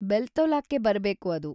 ಬೆಲ್ತೊಲಾಕ್ಕೆ ಬರ್ಬೇಕು ಅದು.